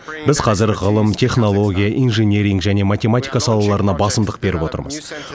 біз қазір ғылым технология инжиниринг және математика салаларына басымдық беріп отырмыз